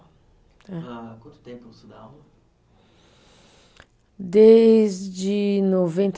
Tá. Há quanto tempo você dá aula? Desde de noventa